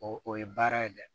O o ye baara ye dɛ